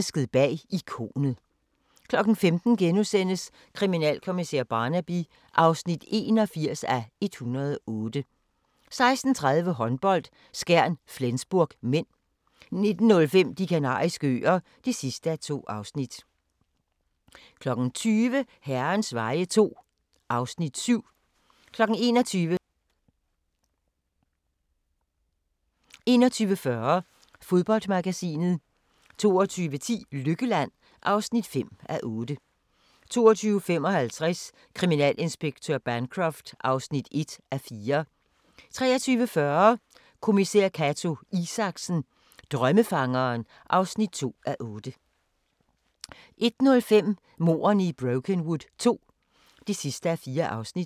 15:00: Kriminalkommissær Barnaby (81:108)* 16:30: Håndbold: Skjern-Flensburg (m) 19:05: De Kanariske Øer (2:2) 20:00: Herrens veje II (Afs. 7) 21:00: 21 Søndag 21:40: Fodboldmagasinet 22:10: Lykkeland (5:8) 22:55: Kriminalinspektør Bancroft (1:4) 23:40: Kommissær Cato Isaksen: Drømmefangeren (2:8) 01:05: Mordene i Brokenwood II (4:4)